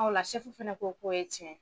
ola fɛnɛ ko k'o ye tiɲɛ.